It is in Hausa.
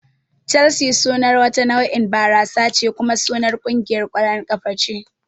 Chelsea sunar wata nau'in barasa ce kuma sunar kungiyar ƙwallon kafa ce